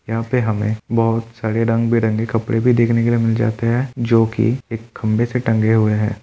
यहाँ पे हमें बहुत सारे रंग-बिरंगे कपड़े भी देखने के लिए मिल जाते हैं जोकि एक खंबे से टंगे हुए हैं।